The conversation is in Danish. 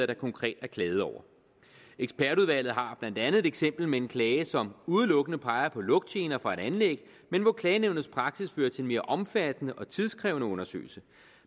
der konkret er klaget over ekspertudvalget har blandt andet et eksempel med en klage som udelukkende peger på lugtgener fra et anlæg men hvor klagenævnets praksis fører til en mere omfattende og tidskrævende undersøgelse